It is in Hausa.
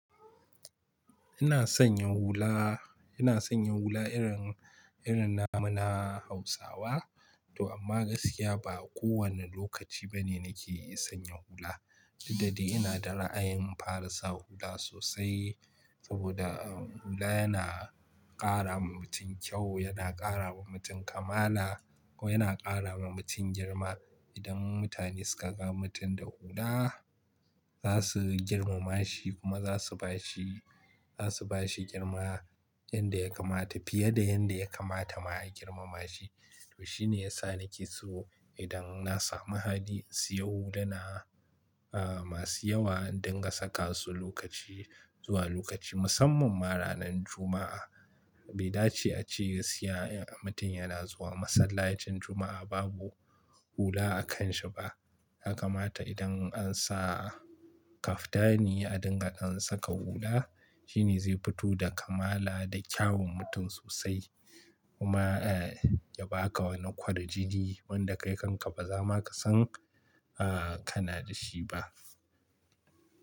Ina son yin hula, ina son yin hula irin, irin namana Hausawa. To amma gaskiya ba kowane lokaci bane nake iya sanya hula. Duddadai ina da ra'ayin fara sa hula sosai saboda, ah, hula yana ƙara wa mutum kyau, yana ƙara wa mutum kamala ko yana ƙara wa mutum girma. Idan mutane suka ga mutum da hula, za su girmama shi kuma za su bashi, za su bashi girma yanda ya kamata. Fiye da yanda ya kamata ma a girmama shi. To shine yasa nake so idan na samu haɗi in siya huluna, ah, masu yawa in dinga saka su lokaci zuwa lokaci, musamman ma ranan Juma'a. Bai dace a ce, a siya in mutum yana zuwa masallacin Juma'a babu hula a kan shi ba. Yakamata idan an sa kaftani a dinga dan saka hula, shine zai fito da kamala da kyawun mutum sosai. Kuma, ah, ya baka wani kwarjini wanda kai kanka ba za ma ka san, ah, kana da shi ba.